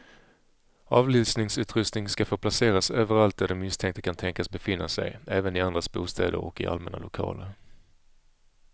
Avlyssningsutrustning ska få placeras överallt där den misstänkte kan tänkas befinna sig, även i andras bostäder och i allmänna lokaler.